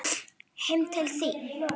Heim til þín?